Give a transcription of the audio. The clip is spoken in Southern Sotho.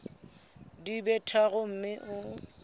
di be tharo mme o